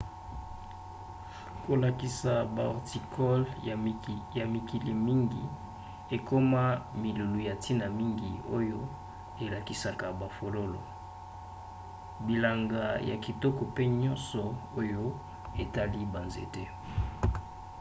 kolakisa bahorticoles ya mikili mingi ekoma milulu ya ntina mingi oyo elakisaka bafololo bilanga ya kitoko mpe nyonso oyo etali banzete